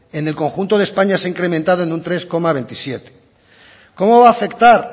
en el conjunto de españa se ha incrementado en un tres coma veintisiete por ciento cómo va a afectar